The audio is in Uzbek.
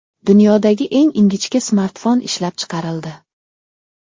Dunyodagi eng ingichka smartfon ishlab chiqarildi.